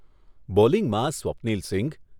બોલિંગમાં Swapnil Singh